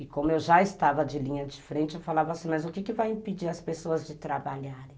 E como eu já estava de linha de frente, eu falava assim, mas o que vai impedir as pessoas de trabalharem?